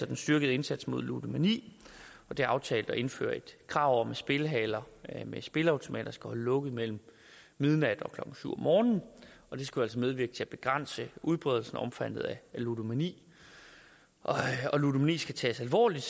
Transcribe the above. den styrkede indsats mod ludomani det er aftalt at indføre et krav om at spillehaller med spilleautomater skal holde lukket mellem midnat og klokken syv om morgenen og det skal altså medvirke til at begrænse udbredelsen og omfanget af ludomani ludomani skal tages alvorligt